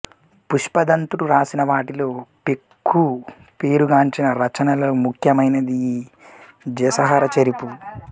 పుష్పదంతుడు వ్రాసిన వాటిలో పెక్కు పేరుగాంచిన రచనలలో ముఖ్యమైనది ఈ జసహరచరివు